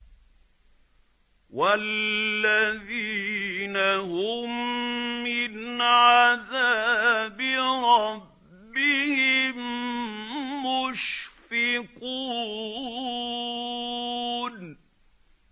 وَالَّذِينَ هُم مِّنْ عَذَابِ رَبِّهِم مُّشْفِقُونَ